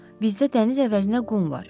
Bizdə dəniz əvəzinə qum var.